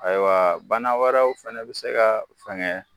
Ayiwa banna wɛrɛw fɛnɛ be se ka fɛngɛ